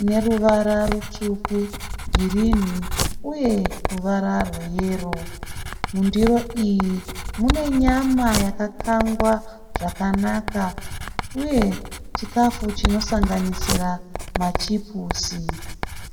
ine ruvara rutsvuku, girini uye ruvara rweyero. Mundiro iyi mune nyama yakakangwa zvakanaka uye chikafu chinosanganisira machipusi.